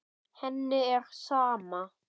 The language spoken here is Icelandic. Henni er sama.